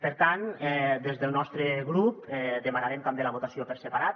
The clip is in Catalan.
per tant des del nostre grup demanarem també la votació per separat